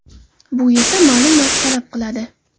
Bu esa ma’lum vaqt talab qiladi.